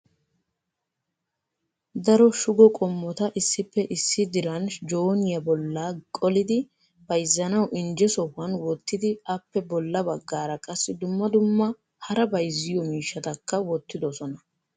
Daro shugo qommota issippe issi diran jooniya bolla qolidi bayzzanawu injje sohuwan wottidi appe bolla baggaara qassi dumma dumma hara bayzziyo miishshatakka wottidoosona.